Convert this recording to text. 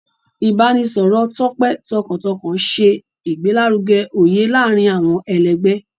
Ibaraẹnisọrọ tope tọkàntọkàn ṣe igbelaruge oye laarin awọn ẹlẹgbẹ.